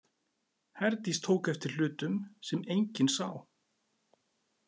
Herdís tók eftir hlutum sem enginn sá.